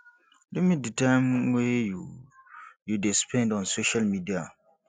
limit di time wey you you dey spend on social media